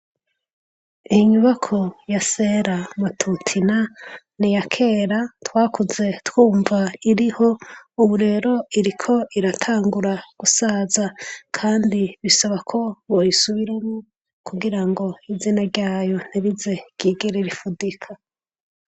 Inyubako ya Sera Matutina niya kera. Twakuze twumva ko iriho. Ubu rero iriko iratangura gusaza kandi bisaba ko boyisubiramwo kugira ngo izina ryayo ntirize ryigere rifudika.